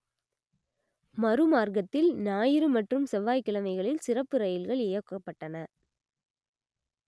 மறுமார்க்கத்தில் ஞாயிறு மற்றும் செவ்வாய்க்கிழமைகளில் சிறப்பு ரயில்கள் இயக்கப்பட்டன